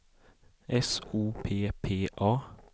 S O P P A